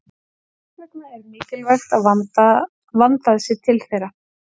Þess vegna er mikilvægt að vandað sé til þeirra.